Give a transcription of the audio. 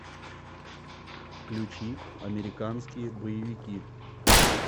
включи американские боевики